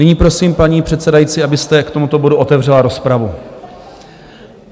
Nyní prosím, paní předsedající, abyste k tomuto bodu otevřela rozpravu.